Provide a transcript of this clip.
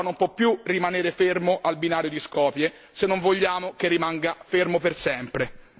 Il treno verso l'Europa non può più rimanere fermo al binario di Skopje se non vogliamo che rimanga fermo per sempre.